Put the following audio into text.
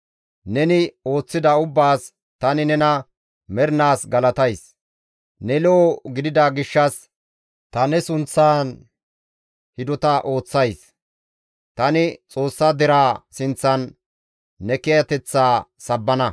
Neni ooththida ubbaas tani nena mernaas galatays; ne lo7o gidida gishshas ta ne sunththan hidota ooththays; tani Xoossa deraa sinththan ne kiyateththaa sabbana.